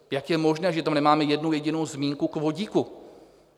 Jak je možné, že tam nemáme jednu jedinou zmínku k vodíku?